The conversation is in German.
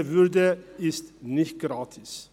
Diese Würde ist nicht gratis.